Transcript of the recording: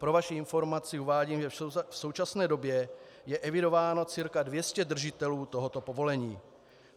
Pro vaši informaci uvádím, že v současné době je evidováno cca 200 držitelů tohoto povolení.